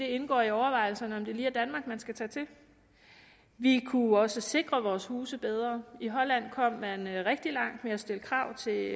indgå i overvejelserne om det lige er danmark man skal tage til vi kunne også sikre vores huse bedre i holland er man kommet rigtig langt ved at stille krav til